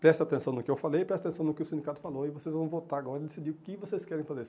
Preste atenção no que eu falei, preste atenção no que o sindicato falou e vocês vão votar agora e decidir o que vocês querem fazer.